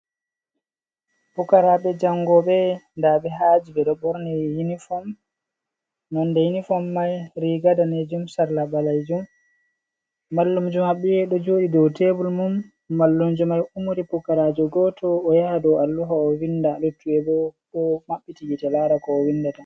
Pukarabe jangoɓe nda ɓe ha aji ɓe ɗo ɓorni uniform, nonde unifom mai riga ɗanejum sarla ɓalajum, mallum jo maɓɓe ɗo jodi dow tebul mum, mallumjo mai umri pukarajo goto o yaha dou alluha o vinda, luttuɓe bo ɗo maɓɓiti gite lara ko o winda ta man.